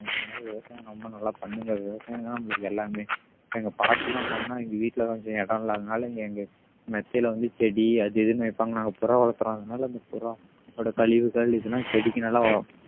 அதனால விவசாயம் ரொம்ப நல்லா பண்ணுங்க விவசாயம்தான் நம்மளுக்கு எல்லாமே எங்க பாட்டி எல்லாம் வந்தாங்கன்னா எங்க வீட்டுல கொஞ்சம் இடம் இல்லாதனால இங்க எங்க மெத்தையில வந்து செடி அது இதுன்னு வைப்பாங்க நாங்க புறா வளர்த்திறோம் அதனால அந்த புறா அதோட கழிவுகள் இதெல்லாம் செடிக்கு நல்லா